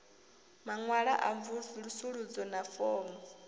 maṅwalo a mvusuludzo na fomo